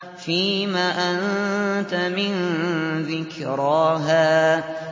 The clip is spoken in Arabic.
فِيمَ أَنتَ مِن ذِكْرَاهَا